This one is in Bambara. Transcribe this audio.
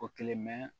O kelen